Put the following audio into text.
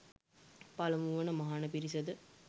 පළමු වන මහණ පිරිසද